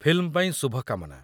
Film ପାଇଁ ଶୁଭକାମନା!